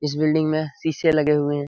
इस बिल्डिंग में शीशे लगे हुए हैं।